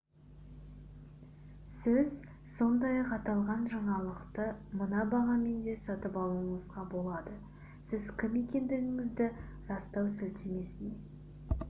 сіз сондай-ақ аталған жаңалықты мына бағамен де сатып алуыңызға болады сіз кім екендігіңізді растау сілтемесіне